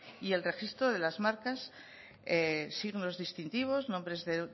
y el registro de las marcas signos distintivos nombres de